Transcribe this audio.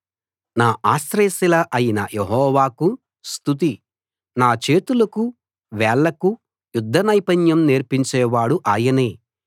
నా ఆశ్రయశిల అయిన యెహోవాకు స్తుతి నా చేతులకు వేళ్లకు యుద్ధ నైపుణ్యం నేర్పించేవాడు ఆయనే